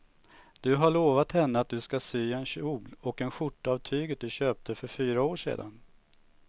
Du har lovat henne att du ska sy en kjol och skjorta av tyget du köpte för fyra år sedan.